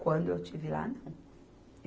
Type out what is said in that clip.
Quando eu estive lá, não.